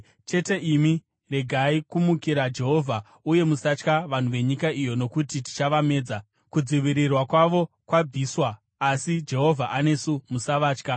Chete imi regai kumukira Jehovha. Uye musatya vanhu venyika iyo, nokuti tichavamedza. Kudzivirirwa kwavo kwabviswa, asi Jehovha anesu. Musavatya.”